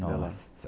Nossa...